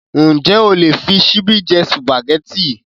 Ǹjẹ́ o lè fí ṣíbí jẹ Sùpàgẹ́tì?